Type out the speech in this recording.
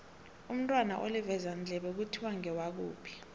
umntwana olivezandlebe kuthiwa ngewakuphi